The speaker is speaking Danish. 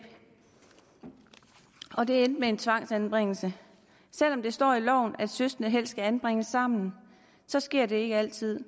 og det endte med en tvangsanbringelse selv om det står i loven at søskende helst skal anbringes sammen sker det ikke altid